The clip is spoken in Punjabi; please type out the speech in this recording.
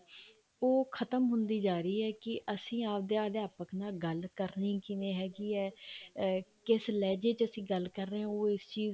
ਉਹ ਖਤਮ ਹੁੰਦੀ ਜਾ ਰਹੀ ਹੈ ਕੇ ਅਸੀਂ ਆਪਦੇ ਅਧਿਆਪਕ ਨਾਲ ਗੱਲ ਕਰਨੀ ਕਿਵੇਂ ਹੈਗੀ ਹੈ ਕਿਸ ਲਹਿਜੇ ਅਸੀਂ ਗੱਲ ਕਰ ਰਹੇ ਹਾਂ ਉਹ ਇਸ ਚੀਜ਼